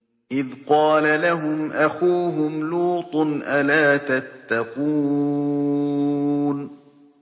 إِذْ قَالَ لَهُمْ أَخُوهُمْ لُوطٌ أَلَا تَتَّقُونَ